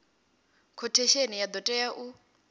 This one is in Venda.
khothesheni ya do tea u